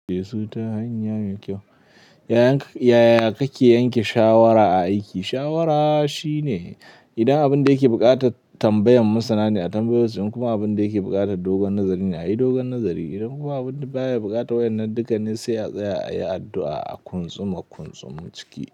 Su ta hanya mai kyau. Yaya kake yanke shawara a aiki? Shawara shine idan abin da yake buƙatat tambayan masana ne a tambayo su in kuma abin da yake buƙatan dogon nazari ne a yi dogon nazari idan kuma abin duk baya buƙatan wannan dukanin sai a tsaya a yi addu'a a kuntsuma kuntsum ciki.